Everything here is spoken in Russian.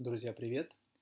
друзья привет